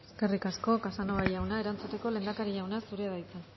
eskerrik asko casanova jauna erantzuteko lehendakari jauna zurea da hitza